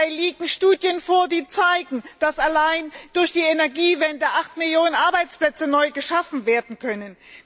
Dabei liegen Studien vor, die zeigen, dass allein durch die Energiewende 8 Millionen Arbeitsplätze neu geschaffen werden können.